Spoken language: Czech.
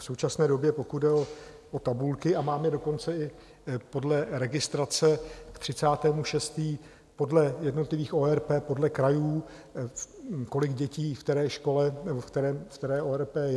V současné době, pokud jde o tabulky, a máme dokonce i podle registrace k 30. 6. podle jednotlivých ORP, podle krajů, kolik dětí v které škole nebo v které ORP je.